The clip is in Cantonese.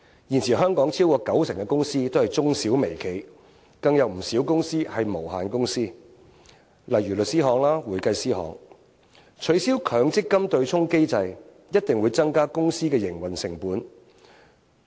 現時香港超過九成公司都是中小微企，更有不少公司是無限公司，例如律師樓及會計師樓，取消強積金對沖機制一定增加公司營運成本。